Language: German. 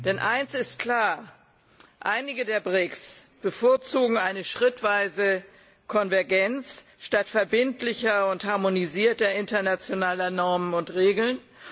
Denn eines ist klar Einige der BRICS bevorzugen eine schrittweise Konvergenz statt verbindlicher und harmonisierter internationaler Normen und Regeln.